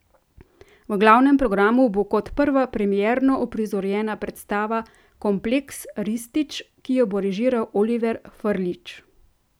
V glavnem programu bo kot prva premierno uprizorjena predstava Kompleks Ristić, ki jo bo režiral Oliver Frljić.